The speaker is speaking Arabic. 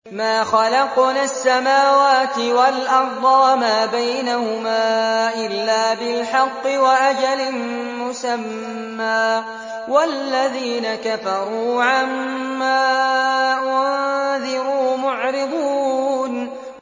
مَا خَلَقْنَا السَّمَاوَاتِ وَالْأَرْضَ وَمَا بَيْنَهُمَا إِلَّا بِالْحَقِّ وَأَجَلٍ مُّسَمًّى ۚ وَالَّذِينَ كَفَرُوا عَمَّا أُنذِرُوا مُعْرِضُونَ